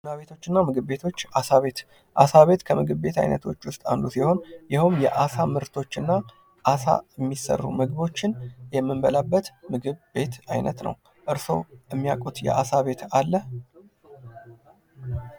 ቡና ቤቶች እና ምግብ ቤቶች አሳ ቤት አሳ ቤት ከምግብ ቤት አይነቶች ዉስጥ አንዱ ሲሆን ይሀውም የአሳ ምርቶች እና ከአሳ የሚሰሩ ምግቦችን የምንበላበት ምግብ ቤት አይነት ነው። እርሶ የሚያውቁት የአሳ ቤት አለ?